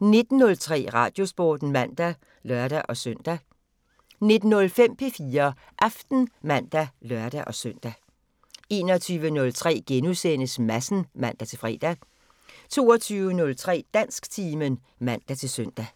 19:03: Radiosporten (man og lør-søn) 19:05: P4 Aften (man og lør-søn) 21:03: Madsen *(man-fre) 22:03: Dansktimen (man-søn)